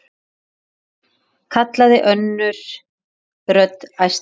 kallaði önnur rödd, æstari.